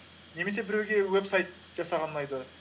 немесе біреуге вебсайт жасаған ұнайды